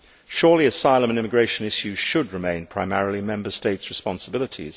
Surely asylum and immigration issues should remain primarily Member States' responsibility.